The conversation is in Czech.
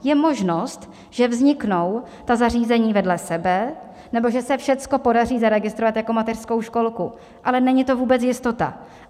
Je možnost, že vzniknou ta zařízení vedle sebe, nebo že se všechno podaří zaregistrovat jako mateřskou školku, ale není to vůbec jistota.